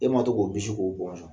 E ma to k'o bisi k'o bɔn.